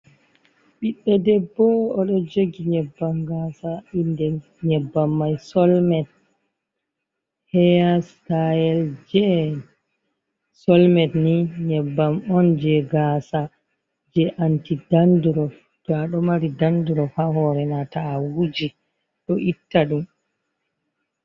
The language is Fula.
Ɓiɗɗo debbo o ɗo jogi nyebbam gasa, inde nyebbam mai solmet. Heya sitayel je solmet ni nyebbam on je gasa je anti dandurop, to a ɗo mari dandurop ha hore ma ta, awuji ɗo itta ɗum.